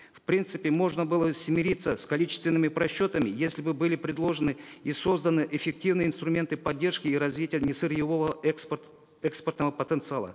в принципе можно было смириться с количественными просчетами если бы были предложены и созданы эффективные инструменты поддержки и развития несырьевого экспортного потенциала